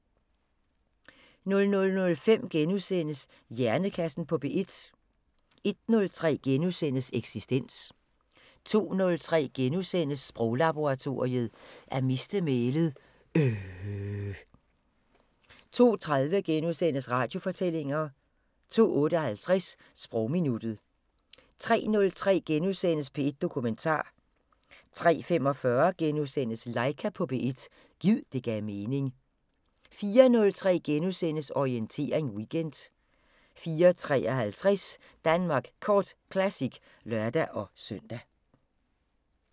00:05: Hjernekassen på P1 * 01:03: Eksistens * 02:03: Sproglaboratoriet: At miste mælet - øhhhhhhhh * 02:30: Radiofortællinger * 02:58: Sprogminuttet 03:03: P1 Dokumentar * 03:45: Laika på P1 – gid det gav mening * 04:03: Orientering Weekend * 04:53: Danmark Kort Classic (lør-søn)